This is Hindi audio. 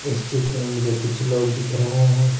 इस चित्र में मुझे कुछ लोग दिख रहा है।